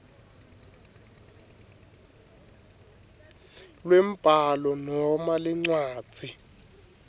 lwembhalo noma lencwadzi